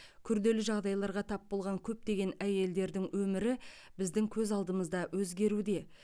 күрделі жағдайларға тап болған көптеген әйелдердің өмірі біздің көз алдымызда өзгеруде